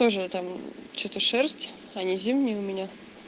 тоже там что-то шерсть они зимние у меня